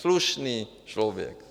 Slušný člověk.